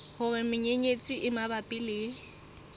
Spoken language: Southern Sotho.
hore menyenyetsi e mabapi le